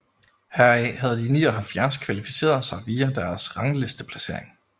Heraf havde de 79 kvalificeret sig via deres ranglisteplacering